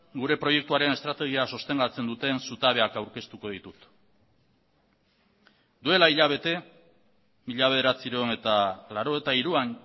gure proiektuaren estrategia sostengatzen duten zutabeak aurkeztuko ditut duela hilabete mila bederatziehun eta laurogeita hiruan